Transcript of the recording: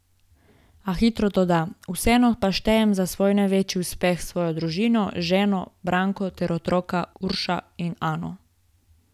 A hitro doda: 'Vseeno pa štejem za svoj največji uspeh svojo družino, ženo Branko ter otroka Uroša in Ano.